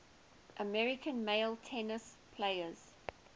american male tennis players